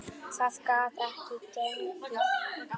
Það gat ekki gengið.